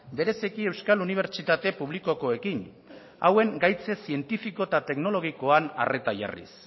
bereziki euskal unibertsitate publikokoekin hauen gaitz zientifiko eta teknologikoan arreta jarriz